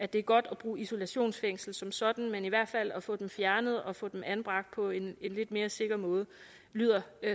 det er godt at bruge isolationsfængsel som sådan men i hvert fald at få dem fjernet og få dem anbragt på en lidt mere sikker måde lyder